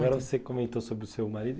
Agora você comentou sobre o seu marido.